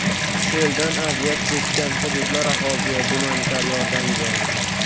Seldan aziyat chekkan hududlar aholisiga gumanitar yordam yuborildi.